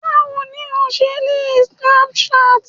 bawo ni o ṣe lè lo Snapchat